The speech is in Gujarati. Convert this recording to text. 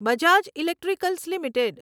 Bajaj electricals limited